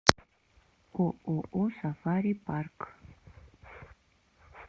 ооо сафари парк